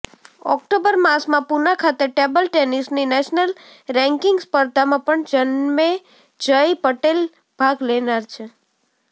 October માસમાં પુના ખાતે table ટેનીસની નેશનલ રેન્કીંગ સ્પર્ધામાં પણ જન્મેજય પટેલ ભાગ લેનાર છે